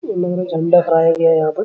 ये लग रहा है झंडा फहराया गया है यहां पर ।